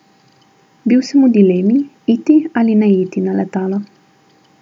Bil sem v dilemi, iti ali ne iti na letalo.